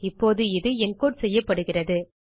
இப்போது இது என்கோடு செய்யப்படுகிறது